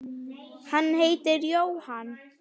Hann heitir Jóhann